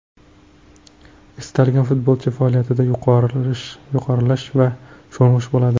Istalgan futbolchi faoliyatida yuqorilash va sho‘ng‘ish bo‘ladi.